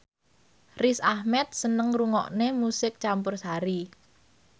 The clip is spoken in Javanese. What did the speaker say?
Riz Ahmed seneng ngrungokne musik campursari